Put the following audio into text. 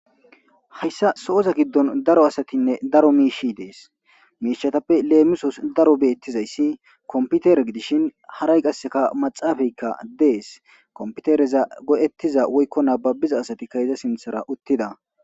Hayssa sooza giddon daro asatinne daro miishshi dees. Miishshatappe leemisos daro beetizayssi kompiteere gidishin haray qasse maxaafeykka dees. Kompiteereza go'ettiza woykko nababiza asatikka iza sinththara uttida.